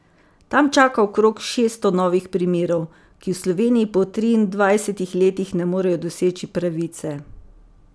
Tam čaka okrog šeststo novih primerov, ki v Sloveniji po triindvajsetih letih ne morejo doseči pravice.